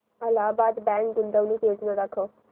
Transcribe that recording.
Allahabad bank गुंतवणूक योजना दाखव